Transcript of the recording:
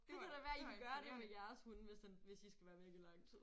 Det kunne da være I kan gøre det med jeres hund hvis den hvis I skal være væk i lang tid